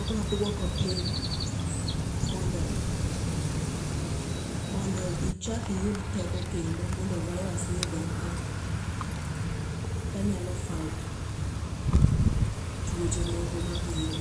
obiro duoko piny mondo, mondo ichak iyud teko kendo mondo virus ni odong' kanyalo fight tuoche moko mabiro.